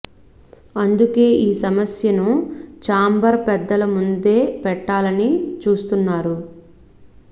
అందుకే ఈ సమస్య ను చాంబర్ పెద్దల ముందే పెట్టాలని చూస్తున్నారు